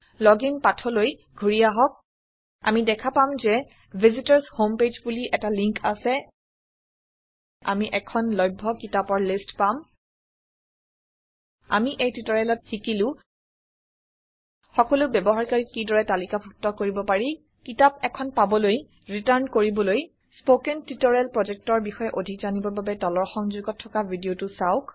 login পাঠলৈ ঘূৰি আহক আমি দেখা পাম যে ভিচিটৰ্ছ হোম পেজ বুলি এটা লিন্ক আছে আমি এখন লভ্য কিতাপৰ লিষ্ট পাম আমি এই টিওটৰিয়েলত আমি শিকিলো সকলো ব্যৱহাৰকাৰীক কি দৰে তালিকাভুত্ত কৰিব পাৰি কিতাপ এখন পাবলৈ ৰিটাৰ্ণ কৰিবলৈ স্পৌকেন টিওটৰিয়েল প্ৰজেক্টৰ বিষয়ে অধিক জানিবৰ বাবে তলৰ সংযোগত থকা ভিদিয়তো চাওক